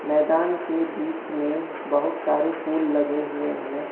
मैदान के बीच में बहोत सारे फूल लगे हुए हैं।